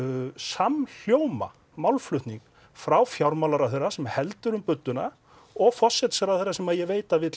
samhljóma málflutning frá fjármálaráðherra sem heldur um budduna og forsætisráðherra sem ég veit að vill